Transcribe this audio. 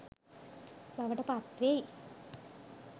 බවට පත් වෙයි.